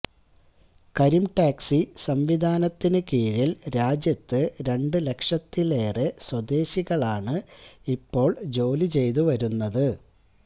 Kareem taxi സംവിധാനത്തിനു കീഴില് രാജ്യത്ത് രണ്ടു ലക്ഷത്തിലേറെ സ്വദേശികളാണ് ഇപ്പോള് ജോലി ചെയ്തു വരുന്നത്